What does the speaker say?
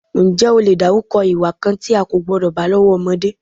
Ǹjẹ́ o lè dárúkọ ìwà kan tí a kò gbọ́dọ̀ bá lọ́wọ́ ọmọdé?